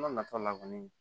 nataw la kɔni